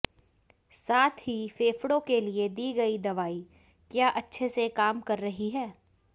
साथ ही फेफड़ों के लिए दी गई दवाई क्या अच्छे से काम कर रही है